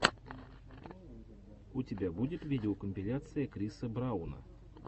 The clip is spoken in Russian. у тебя будет видеокомпиляция криса брауна